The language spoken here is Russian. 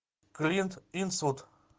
клинт иствуд